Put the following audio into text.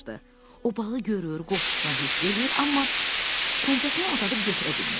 O balı görür, qoxusunu hiss edir, amma pəncəsini uzadıb götürə bilmirdi.